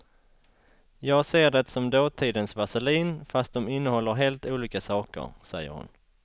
Jag ser det som dåtidens vaselin fast dom innehåller helt olika saker, säger hon.